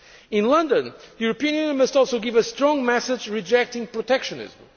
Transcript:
In London, the European Union must also give a strong message rejecting protectionism.